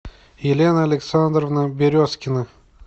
елена александровна березкина